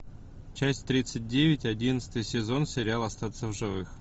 часть тридцать девять одиннадцатый сезон сериал остаться в живых